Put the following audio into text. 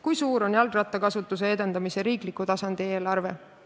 Kui suur on jalgrattakasutuse edendamise riikliku tasandi eelarve?